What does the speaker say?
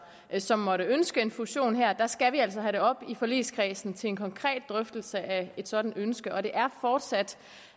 som måtte ønske en fusion her skal vi have det op i forligskredsen til en konkret drøftelse af et sådant ønske og det er fortsat